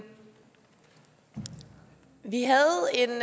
den